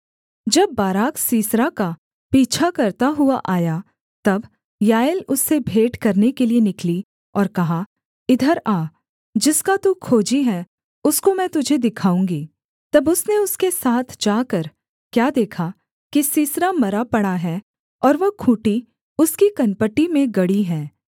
जब Barak Sisera का पीछा करता हुआ आया तब याएल उससे भेंट करने के लिये निकली और कहा इधर आ जिसका तू खोजी है उसको मैं तुझे दिखाऊँगी तब उसने उसके साथ जाकर क्या देखा कि सीसरा मरा पड़ा है और वह खूँटी उसकी कनपटी में गड़ी है